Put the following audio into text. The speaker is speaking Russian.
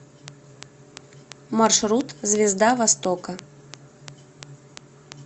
маршрут звезда востока